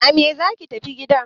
A me zaki tafi gida!